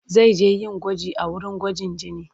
Zai je yin gwaji a wurin gwajin jini.